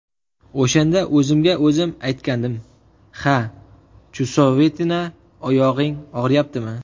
O‘shanda o‘zimga o‘zim aytgandim: ‘Ha, Chusovitina, oyog‘ing og‘riyaptimi?